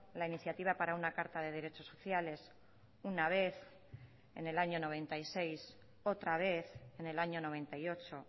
la iniciativa para una carta de derechos sociales una vez en el año noventa y seis otra vez en el año noventa y ocho